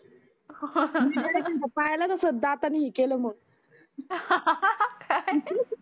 पायालाच अस दातांणी केल मग काय